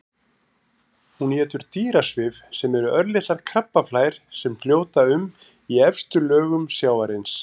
Hún étur dýrasvif sem eru örlitlar krabbaflær sem fljóta um í efstu lögum sjávarins.